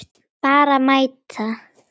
Bara mæta.